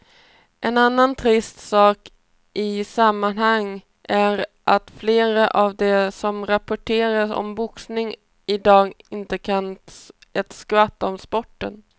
En annan trist sak i sammanhanget är att flera av de som rapporterar om boxning i dag inte kan ett skvatt om sporten.